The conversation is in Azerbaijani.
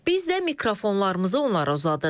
Biz də mikrofonlarımızı onlara uzadırıq.